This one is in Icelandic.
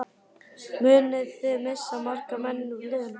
Munið þið missa marga menn úr liðinu?